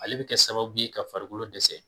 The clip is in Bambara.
Ale bɛ kɛ sababu ye ka farikolo dɛsɛ